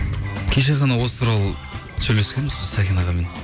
кеше ғана осы туралы сөйлескенбіз біз сәкен ағамен